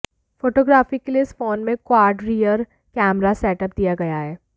photography के लिए इस फोन में क्वॉड रियर कैमरा सेटअप दिया गया है